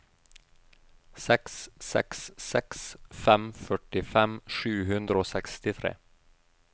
seks seks seks fem førtifem sju hundre og sekstitre